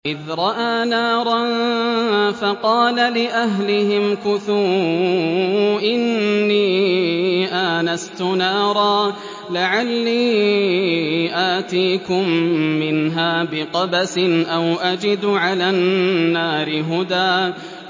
إِذْ رَأَىٰ نَارًا فَقَالَ لِأَهْلِهِ امْكُثُوا إِنِّي آنَسْتُ نَارًا لَّعَلِّي آتِيكُم مِّنْهَا بِقَبَسٍ أَوْ أَجِدُ عَلَى النَّارِ هُدًى